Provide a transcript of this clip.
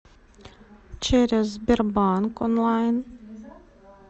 через сбербанк онлайн